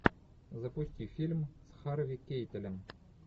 запусти фильм с харви кейтелем